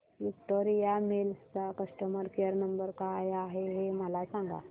Victoria Mills चा customer care number काय आहे हे मला सांगा